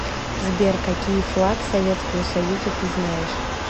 сбер какие флаг советского союза ты знаешь